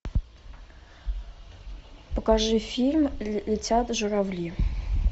покажи фильм летят журавли